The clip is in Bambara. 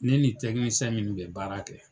Ne ni min kun me baara kɛ